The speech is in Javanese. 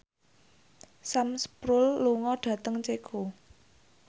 Sam Spruell lunga dhateng Ceko